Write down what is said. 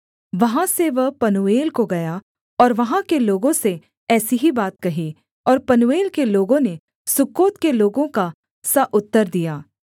वहाँ से वह पनूएल को गया और वहाँ के लोगों से ऐसी ही बात कही और पनूएल के लोगों ने सुक्कोत के लोगों का सा उत्तर दिया